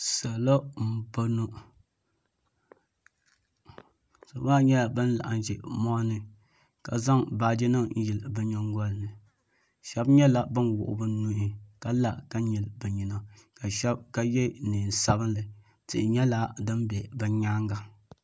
Salo m boŋɔ salo maa nyɛla ban laɣim ʒɛ moɣuni ka zaŋ baaji nima n yili bɛ nyingolini sheba nyɛla bin wuɣi bɛ nuhi ka la ka nyili bɛ nyina ka ye niɛn'sabinli tihi nyɛla din be bɛ nyaanga.